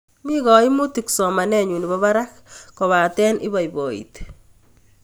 Mi kaimutik somanennyu nepo parak kobate ipoipoiti